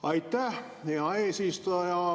Aitäh, hea eesistuja!